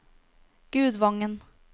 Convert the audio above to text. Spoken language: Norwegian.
Gudvangen